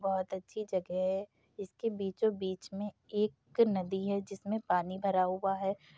बहुत अच्छी जगह है इसके बीचों बीच में एक नदी है जिसमें पानी भरा हुआ है।